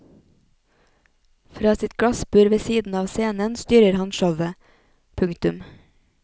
Fra sitt glassbur ved siden av scenen styrer han showet. punktum